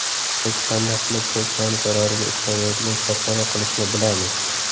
Biz qanday qilib pochtani zarariga ishlamaydigan korxona qilishni bilamiz.